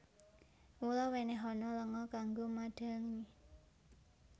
Mula wènèhana lenga kanggo madhangi